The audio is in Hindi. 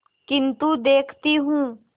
किन्तु देखती हूँ